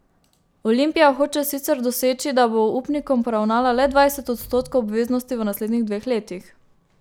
Olimpija hoče sicer doseči, da bo upnikom poravnala le dvajset odstotkov obveznosti v naslednjih dveh letih.